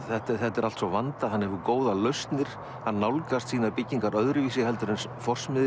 þetta er þetta er allt svo vandað hann hefur góðar lausnir hann nálgast sínar byggingar öðruvísi heldur en